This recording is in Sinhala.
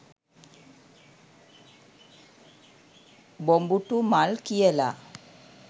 'බොඹුටු මල්' කියලා